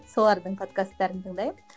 солардың подкастарын тыңдаймын